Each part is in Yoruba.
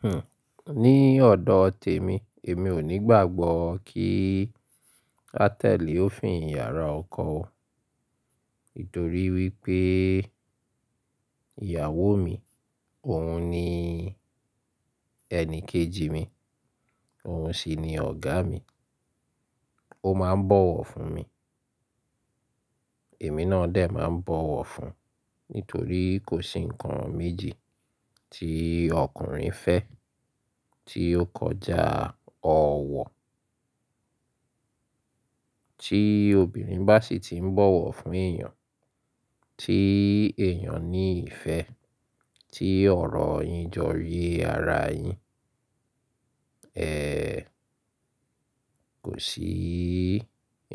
Hmm, ní ọ̀dọ̀ tèmi, èmi ò ní gbàgbọ́ kí hótẹ́ẹ̀lì ó fi ìyàrá ọkọ. Nítorí wípé ìyàwó mi, òun ni ẹni kejì mi, òun sì ni ọ̀gá mi. Ó máa ń bọ̀wọ̀ fún mi, èmi náà dẹ̀ máa ń bọ̀wọ̀ fun. Nítorí kò sí ǹkan méjì tí ọkùnrin fẹ́ tí ó kọjá ọ̀wọ̀. Tí obìnrin bá sì ti ń bọ̀wọ̀ fún èèyàn, tí èèyàn ní ìfẹ́, tí ọ̀rọ̀ yín joyè ara yín, ẹ́ẹ̀, kò sí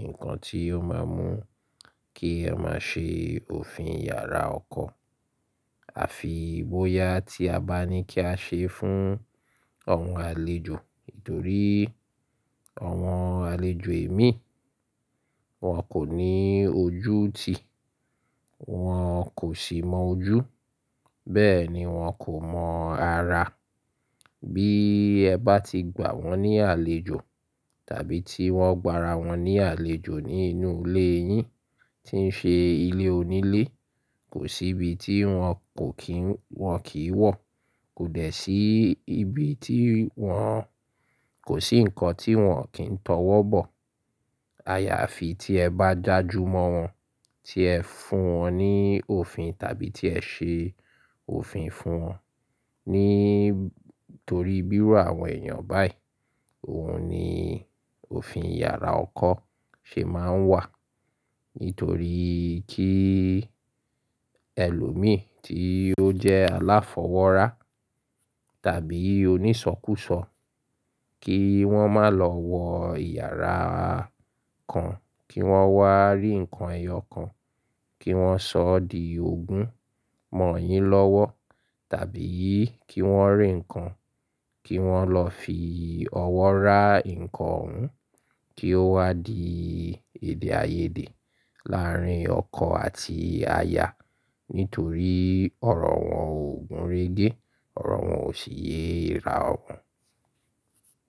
ǹkan tí ó máa mú kí ẹ má ṣe òfin ìyàrá ọkọ. Àfi bóyá tí a bá ní kí a ṣe fún àwọn àlejò. Nítorí àwọn àlejò èmi, wọ́n kò ní ojú ti, wọ́n kò sì mọ ojú. Bẹ́ẹ̀ ni wọ́n kò mọ ara. Bí ẹ bá ti gbà wọ́n ní àlejò tàbí tí wọ́n gbà ara wọn ní àlejò nínú ilé yín tí ń ṣe ilé onílé, kò sí ibi tí wọn kò kín, wọn kì í wọ̀. Kò dẹ̀ sí ibi tí wọn, kò sí ǹkan tí wọn kì ń tọwọ́ bọ̀. Àyà àfi tí ẹ bá já ju mọ́ wọn, tí ẹ fún wọn ní òfin tàbí tí ẹ ṣe òfin fún wọn. Nítorí bíró àwọn èèyàn báyìí, òun ni òfin ìyàrá ọkọ ṣe máa ń wà. Nítorí kí ẹlòmíì tí ó jẹ́ aláfọwọ́ra tàbí onísọkúsọ kí wọ́n má lọ wọ ìyàrá kan, kí wọ́n wá rí ǹkan ẹyọ kan, kí wọ́n sọ ọ́ di ogún mọ̀ yín lọ́wọ́ tàbí kí wọ́n rí ǹkan, kí wọ́n lọ fi ọwọ́ rá ǹkan òun kí ó wá di èdè-àiyedè láàárín ọkọ àti aya. Nítorí ọ̀rọ̀ wọn ò gúnrégé, ọ̀rọ̀ wọn ò sì yé ra ogún.